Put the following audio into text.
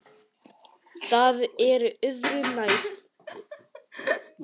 Það er öðru nær.